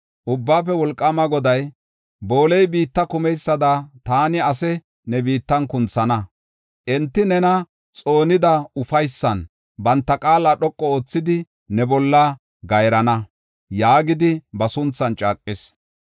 Ubbaafe Wolqaama Goday, “Booley biitta kumeysada taani asaa ne biittan kunthana; enti nena xoonida ufaysan banta qaala dhoqu oothidi ne bolla gayrana” yaagidi ba sunthan caaqis.